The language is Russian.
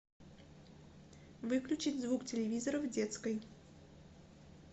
выключить звук телевизора в детской